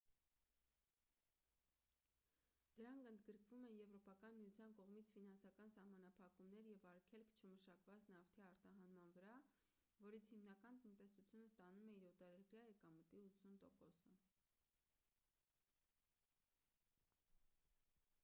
դրանք ընդգրկում են եվրոպական միության կողմից ֆինանսական սահմանափակումներ և արգելք չմշակված նավթի արտահանման վրա որից իրանական տնտեսությունը ստանում է իր օտարերկրյա եկամտի 80%-ը: